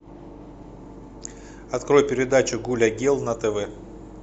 открой передачу гуля гел на тв